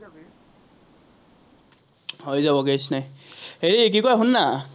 হৈ যাব নাই। হেৰি কি কয়, শুন না